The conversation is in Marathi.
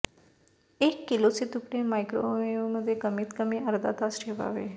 एक किलोचे तुकडे मायक्रोवेव्हमध्ये कमीत कमी अर्धा तास ठेवावे